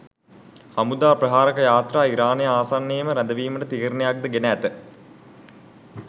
හමුදා ප්‍රහාරක යාත්‍රා ඉරානය ආසන්නයේම රැදවීමට තීරණයක්ද ගෙන ඇත